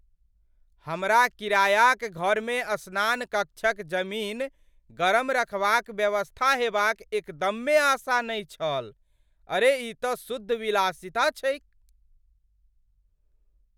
हमरा किरायाक घरमे स्नान कक्षक जमीन गरम रखबाक व्यवस्था हेबाक एकदमे आशा नहि छल, अरे ई तँ शुद्ध विलासिता छैक!